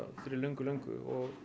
fyrir löngu löngu og